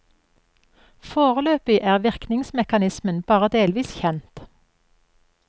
Foreløpig er virkningsmekanismen bare delvis kjent.